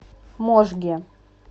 можге